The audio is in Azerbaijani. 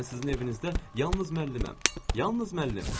Mən sizin evinizdə yalnız müəlliməm, yalnız müəllim.